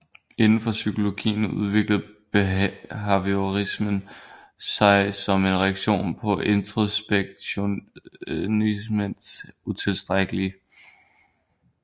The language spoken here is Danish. Indenfor psykologien udviklede behaviorismen sig som en reaktion på introspektionismens utilstrækkelighed